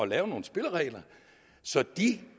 lave nogle spilleregler så de